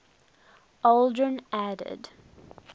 aldrin added